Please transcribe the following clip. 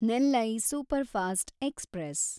Nellai superfast express